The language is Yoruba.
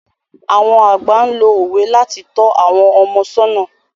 Àwọn àgbà lo òwe láti tọ́ àwọn ọmọ sọ́nà.